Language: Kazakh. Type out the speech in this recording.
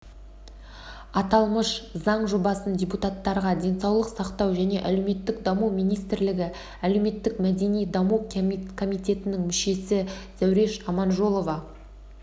аталмыш заң жобасын депутаттарға денсаулық сақтау және әлеуметтік даму министрлігі әлеуметтік-мәдени даму комитетінің мүшесі зәуреш аманжолова